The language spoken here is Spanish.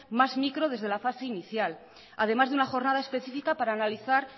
más micro desde la fase inicial además de una jornada específica para analizar